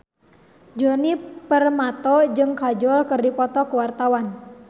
Djoni Permato jeung Kajol keur dipoto ku wartawan